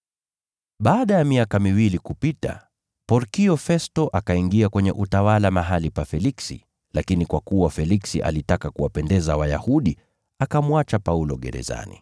Baada ya miaka miwili kupita, Porkio Festo akaingia kwenye utawala mahali pa Feliksi, lakini kwa kuwa Feliksi alitaka kuwapendeza Wayahudi, akamwacha Paulo gerezani.